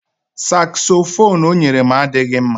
Sakzofuunu o nyere m adịghị mma